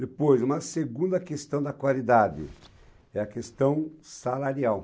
Depois, uma segunda questão da qualidade é a questão salarial.